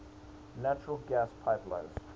natural gas pipelines